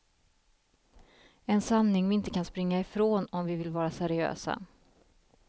En sanning vi inte kan springa ifrån om vi vill vara seriösa.